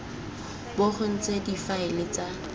bo go ntse difaele tsa